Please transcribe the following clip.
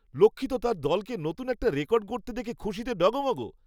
লক্ষ্মী তো তার দলকে নতুন একটা রেকর্ড গড়তে দেখে খুশিতে ডগমগ ।